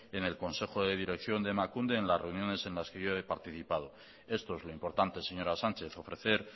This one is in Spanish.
en el consejo de dirección de emakunde en las reuniones en las que yo he participado esto es lo importante señora sánchez ofrecer